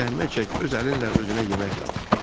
Zəhmət çək, öz əlinlə özünə yemək tap.